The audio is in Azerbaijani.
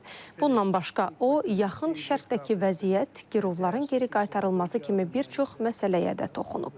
Bundan başqa, o, Yaxın Şərqdəki vəziyyət, girovların geri qaytarılması kimi bir çox məsələyə də toxunub.